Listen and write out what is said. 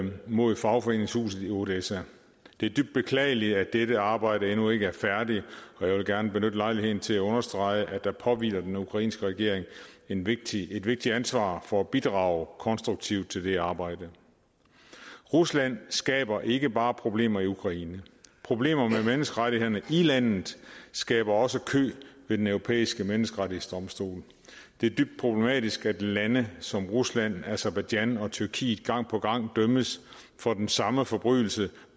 mod fagforeningshuset i odessa det er dybt beklageligt at dette arbejde endnu ikke er færdigt og jeg vil gerne benytte lejligheden til at understrege at der påhviler den ukrainske regering et vigtigt vigtigt ansvar for at bidrage konstruktivt til det arbejde rusland skaber ikke bare problemer i ukraine problemer med menneskerettighederne i landet skaber også kø ved den europæiske menneskerettighedsdomstol det er dybt problematisk at lande som rusland aserbajdsjan og tyrkiet gang på gang dømmes for den samme forbrydelse